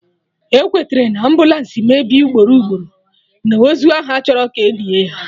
Ekwetere na, ambụlansị mebie ugboro ugboro, na ozu ahụ achọrọ ka enie ya